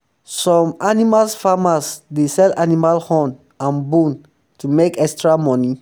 um some um animal farmers dey sell animal horn and bone to make extra money